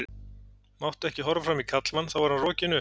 Mátti ekki horfa framan í karlmann þá var hann rokinn upp.